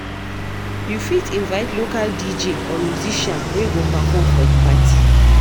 You fit invite local DJ or musician wey go perform for di party.